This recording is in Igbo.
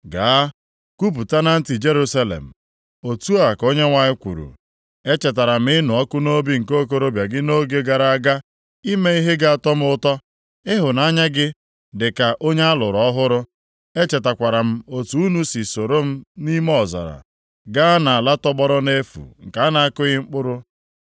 “Gaa, kwupụta na ntị Jerusalem, “Otu a ka Onyenwe anyị kwuru, “ ‘Echetara m ịnụ ọkụ nʼobi nke okorobịa gị nʼoge gara aga ime ihe ga-atọ m ụtọ, ịhụnanya gị dịka onye a lụrụ ọhụrụ, echetakwara m otu unu si soro m nʼime ọzara, ga nʼala tọgbọrọ nʼefu nke a na-akụghị mkpụrụ.